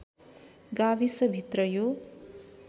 गाविसभित्र यो